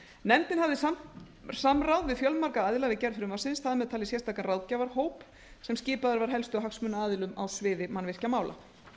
nefndin hafði samráð við fjölmarga aðila við gerð frumvarpsins þar með talinn sérstakan ráðgjafahóp sem skipaður var helstu hagsmunaaðilum á sviði mannvirkjamála sumarið